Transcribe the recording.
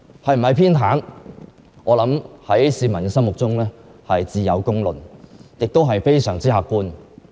是否偏袒，市民心中自有公論，亦是非常客觀的。